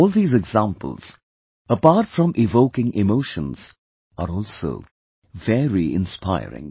All these examples, apart from evoking emotions, are also very inspiring